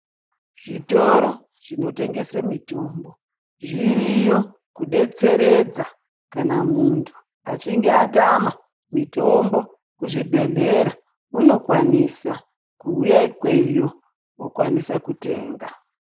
Zvitoro zvinotengese mitombo zviriyo kudetseredza kana muntu achinge atama mitombo kuzvibhedhleya unokwanisa kuuya ikweyo okwanisa kutenga.